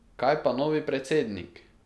Kaj pa novi predsednik?